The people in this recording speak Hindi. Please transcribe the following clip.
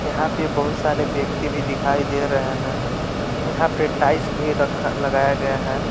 यहां पे बहुत सारे व्यक्ति भी दिखाई दे रहे हैं यहां पे टाइल्स भी रखा लगाया गया है।